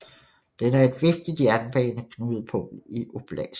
Den er et vigtigt jernbaneknudepunkt i oblasten